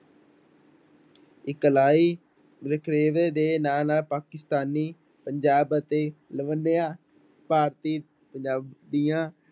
ਇਕਲਾਈ ਵਖਰੇਵੇ ਦੇ ਨਾਲ ਨਾਲ ਪਾਕਿਸਤਾਨੀ ਪੰਜਾਬ ਅਤੇ ਭਾਰਤੀ ਪੰਜਾਬ ਦੀਆਂ